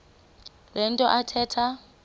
le nto athetha